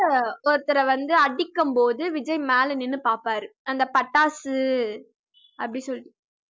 ஒருத்தர வந்து அடிக்கும்போது விஜய் மேல நின்னு பாப்பாரு அந்த பட்டாசு அப்படி சொல்லிட்டு